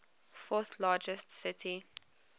fourth largest city